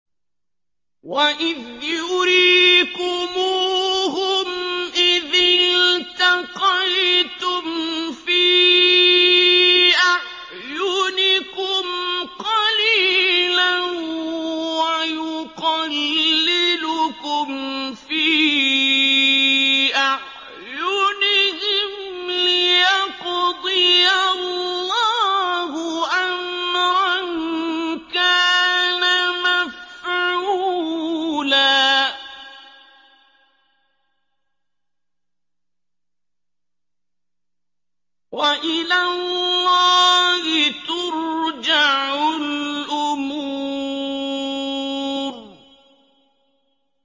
وَإِذْ يُرِيكُمُوهُمْ إِذِ الْتَقَيْتُمْ فِي أَعْيُنِكُمْ قَلِيلًا وَيُقَلِّلُكُمْ فِي أَعْيُنِهِمْ لِيَقْضِيَ اللَّهُ أَمْرًا كَانَ مَفْعُولًا ۗ وَإِلَى اللَّهِ تُرْجَعُ الْأُمُورُ